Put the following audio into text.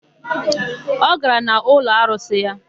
Ọ gara n'ụlọarụsị ya?